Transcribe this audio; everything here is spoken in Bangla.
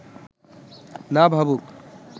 না ভাবুক